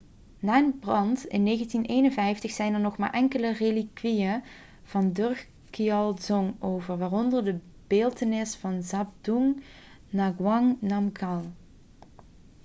na een brand in 1951 zijn er nog maar enkele relikwieën van drukgyal dzong over waaronder de beeltenis van zhabdrung ngawang namgyal